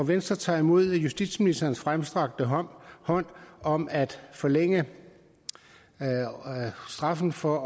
venstre tager imod justitsministerens fremstrakte hånd hånd om at forlænge straffen for